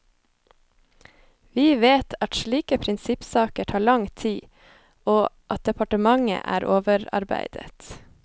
Vi vet at slike prinsippsaker tar lang tid, og at departementet er overarbeidet.